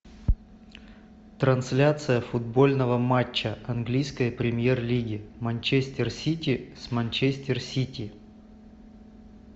трансляция футбольного матча английской премьер лиги манчестер сити с манчестер сити